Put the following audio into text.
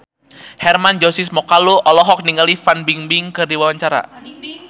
Hermann Josis Mokalu olohok ningali Fan Bingbing keur diwawancara